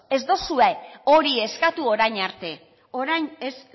ez duzue hori eskatu orain arte orain ez